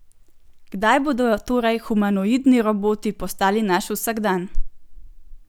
Kdaj bodo torej humanoidni roboti postali naš vsakdan?